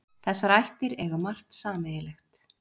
Þessar ættir eiga margt sameiginlegt.